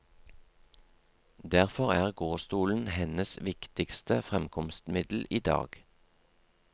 Derfor er gåstolen hennes viktigste fremkomstmiddel i dag.